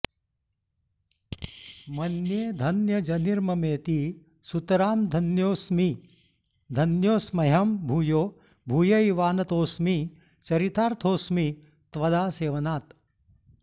मन्ये धन्य जनिर्ममेति सुतरां धन्योऽस्मि धन्योऽस्म्यहं भूयो भूयैवानतोऽस्मि चरितार्थोऽस्मि त्वदासेवनात्